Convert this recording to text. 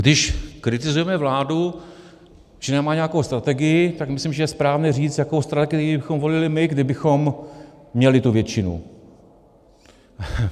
Když kritizujeme vládu, že nemá nějakou strategii, tak myslím, že je správné říct, jakou strategii bychom volili my, kdybychom měli tu většinu.